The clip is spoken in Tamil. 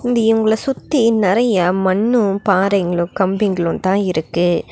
அண்ட் இவங்கள சுத்தி நெறையா மண்ணு பாறைங்களு கம்பிங்களு தா இருக்கு.